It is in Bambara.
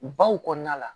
Baw kɔnɔna la